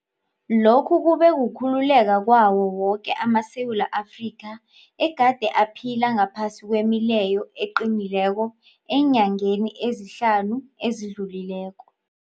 Lokhu kube kukhululeka kwawo woke amaSewula Afrika egade aphila ngaphasi kwemileyo eqinileko eenyangeni ezihlanu ezidlulileko.